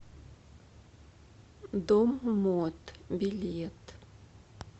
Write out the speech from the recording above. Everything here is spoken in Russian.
дом мод билет